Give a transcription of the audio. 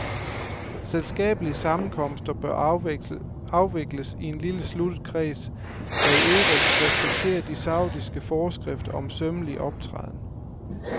Selskabelige sammenkomster bør afvikles i en lille sluttet kreds, der i øvrigt respekterer de saudiske forskrifter om sømmelig optræden.